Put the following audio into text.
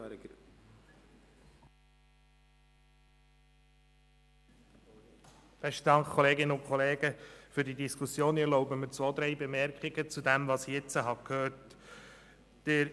Ich danke Ihnen für die Diskussion und erlaube mir zwei, drei Bemerkungen zu den Voten, die ich gehört habe.